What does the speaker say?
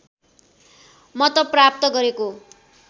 मत प्राप्त गरेको